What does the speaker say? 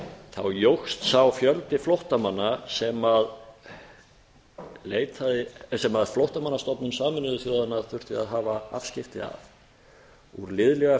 þá jókst sá fjöldi flóttamanna sem flóttamannastofnun sameinuðu þjóðanna þurfti að hafa afskipti af úr liðlega